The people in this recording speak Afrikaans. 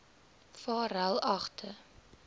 varelagte